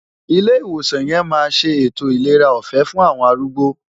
Ilé ìwòsàn yẹn máa ṣe ètò ìlera ọ̀fẹ́ fún àwọn arúgbó.